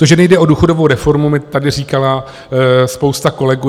To, že nejde o důchodovou reformu, mi tady říkala spousta kolegů.